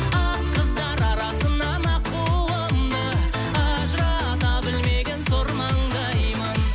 ақ қыздар арасынан аққуымды ажырата білмеген сор маңдаймын